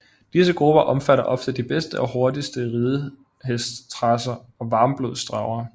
Disse grupper omfatter ofte de bedste og hurtigste ridehestracer og varmblodstravere